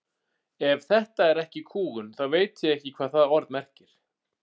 Ef þetta er ekki kúgun þá veit ég ekki hvað það orð merkir.